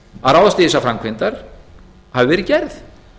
að ráðast í þessari framkvæmdir hafi verið gerð